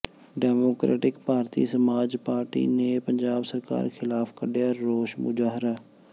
democratic Bharti Samaj Party ਨੇ ਪੰਜਾਬ ਸਰਕਾਰ ਖਿਲਾਫ਼ ਕੱਿਢਆ ਰੋਸ ਮੁਜ਼ਾਹਰਾ